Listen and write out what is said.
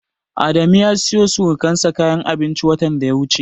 Adamu ya siyowa surukansa kayan abinci watan da ya wuce.